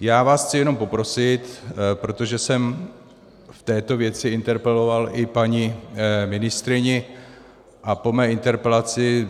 Já vás chci jenom poprosit, protože jsem v této věci interpeloval i paní ministryni a po mé interpelaci